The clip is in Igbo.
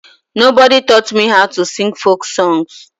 Nobody taught me how to sing folk songs.